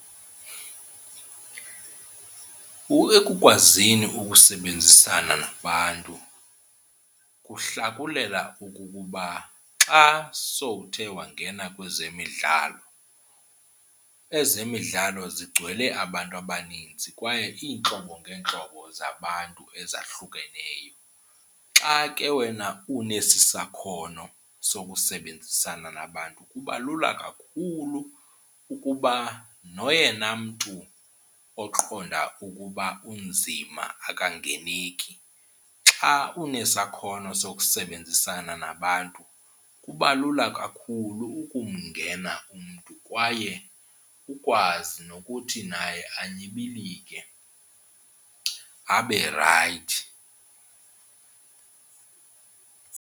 Ekukwazini ukusebenzisana nabantu kuhlakulela ukukuba xa sowuthe wangena kwezemidlalo ezemidlalo zigcwele abantu abaninzi kwaye iintlobo ngeentlobo zabantu ezahlukeneyo. Xa ke wena unesi sakhono sokusebenzisana nabantu kuba lula kakhulu ukuba noyena mntu oqonda ukuba unzima akangeneki xa unesakhono sokusebenzisana nabantu kuba lula kakhulu ukumngena umntu kwaye ukwazi nokuthi naye anyibilike abe rayithi.